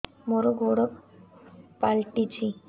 ମୋର ଗୋଡ଼ ପାଲଟିଛି